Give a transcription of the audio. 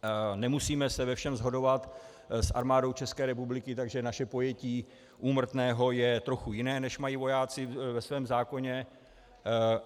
Nemusíme se ve všem shodovat s Armádou České republiky, takže naše pojetí úmrtného je trochu jiné, než mají vojáci ve svém zákoně.